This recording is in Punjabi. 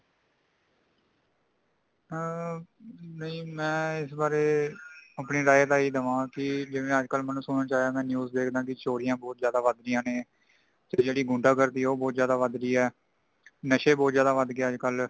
ਆ ਨਹੀਂ, ਮੈਂ ਇਸ ਬਾਰੇ ਆਪਣੀ ਰਾਏ ਦੇ ਹੀ ਦਵਾਂ ਕਿ ਜਿਵੇ ਅਜ ਕਲ ਨੇਮੁ ਸੁਨਣ ਨੂੰ ਆਯਾ ਕਿ, ਮੈਂ news ਦੇਖਦਾ ਕੀ ਚੋਰੀਆਂ ਬਹੁਤ ਜ਼ਯਾਦਾ ਵਧ ਗਾਇਆ ਨੇ ,ਤੇ ਜੇੜ੍ਹੀ ਗੁੰਡਾ ਗਰਦੀ ਹੈ ਉਹ ਬਹੁਤ ਜ਼ਿਆਦਾ ਵਧ ਗਈਆਂ ਨੇ ,ਨਸ਼ੇ ਬਹੁਤ ਜ਼ਿਆਦਾ ਵਧ ਗਈਆਂ ਨੇ ਅਜ ਕਲ|